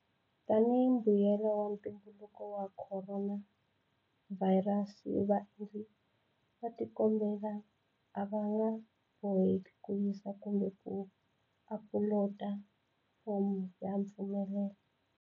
Tanihi mbuyelo wa ntumbuluko wa khoronavhayirasi, vaendli va xikombelo a va nga boheki ku yisa kumbe ku apuloda fomo ya mfumelelo.